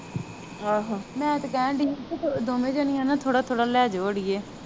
ਆਹੋ ਮੈ ਤੇ ਕਹਿਣ ਦੀ ਹੀ ਪੀ ਦੋਵੇ ਜਾਣੀਆ ਨਾ ਥੋੜ੍ਹਾ ਥੋੜ੍ਹਾ ਲੈਜੋ ਅੜੀਏ